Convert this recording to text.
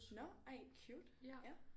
Nåh ej cute ja